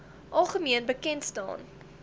algemeen bekend staan